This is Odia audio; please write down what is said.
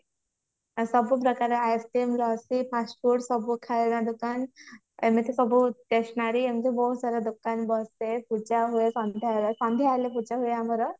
ଆଉ ସବୁ ପ୍ରକାର ice-cream ଲସି fast-food ସବୁ ଖାଇବା ଦୋକାନ ଏମିତି ସବୁ stationary ଏମିତି ବହୁତ ସାରା ଦୋକାନ ବସିଥାଏ ପୂଜା ହୁଏ ସନ୍ଧ୍ଯା ବେଳେ ସନ୍ଧ୍ଯା ହେଲେ ପୂଜା ହୁଏ ଆମର